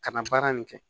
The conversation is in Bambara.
Ka na baara nin kɛ